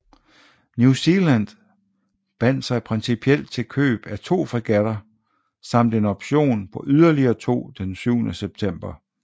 New Zealand bandt sig principielt til købet af to fregatter samt en option på yderligere to den syvende september